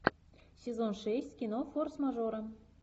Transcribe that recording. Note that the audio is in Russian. сезон шесть кино форс мажоры